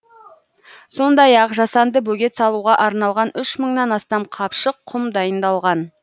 сондай ақ жасанды бөгет салуға арналған үш мыңнан астам қапшық құм дайындалған